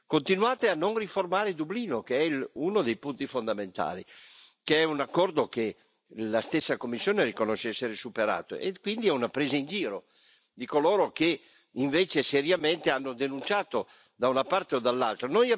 Continuate a non riformare Dublino, che è uno dei punti fondamentali, che è un accordo che la stessa Commissione riconosce essere superato, quindi è una presa in giro di coloro che invece seriamente hanno denunciato da una parte o dall'altra.